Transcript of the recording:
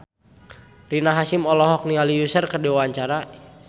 Rina Hasyim olohok ningali Usher keur diwawancara